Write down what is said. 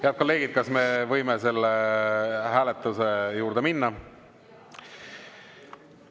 Head kolleegid, kas me võime selle hääletuse juurde minna?